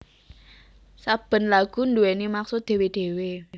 Saben lagu nduwèni maksud dhewe dhewe